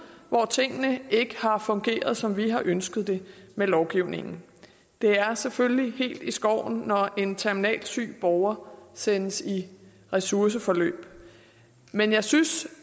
hvor tingene ikke har fungeret som vi har ønsket det med lovgivningen det er selvfølgelig helt i skoven når en terminalt syg borger sendes i ressourceforløb men jeg synes